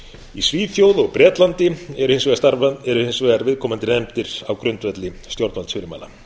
í svíþjóð og bretlandi eru hins vegar viðkomandi nefndir á grundvelli stjórnvaldsfyrirmæla